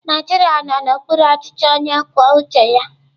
Naijiria nọ n'okpuru ọchịchị onye kwuo uche ya.